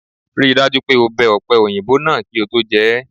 Rí i dájú pé o bẹ ọ̀pẹ-òyìnbó náà kí o tó jẹ é!